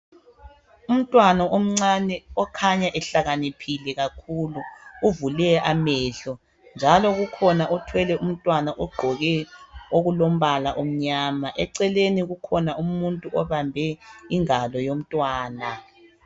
Umntwana omncane okhanya ehlakaniphile kakhulu uvule amahlo njalo kukhona othwele umntwana ogqoke okulombala omnyama. Eceleni kukhona umuntu obambe ingalo yomntwana.